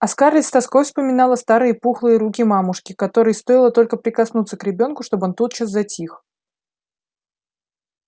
а скарлетт с тоской вспоминала старые пухлые руки мамушки которой стоило только прикоснуться к ребёнку чтобы он тотчас затих